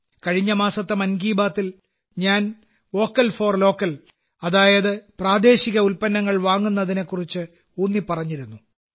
കഴിഞ്ഞ മാസത്തെ മൻ കി ബാത്തിൽ ഞാൻ വോക്കൽ ഫോർ ലോക്കൽ അതായത് പ്രാദേശിക ഉൽപന്നങ്ങൾ വാങ്ങുന്നതിനെക്കുറിച്ച് ഊന്നിപ്പറഞ്ഞിരുന്നു